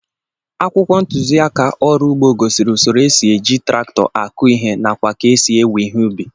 Akwụkwọ ntuziaka ọrụ ugbo gosiri usoro e si eji traktọ akụ ihe nakwa ka esi éwe ihe ubi